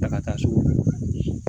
Ta ka taa so